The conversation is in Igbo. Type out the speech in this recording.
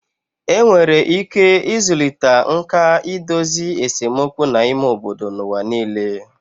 Enwere ike ịzụlite nkà idozi esemokwu n'ime obodo n'ụwa nile